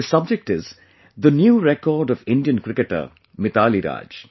This subject is the new record of Indian cricketer MitaaliRaaj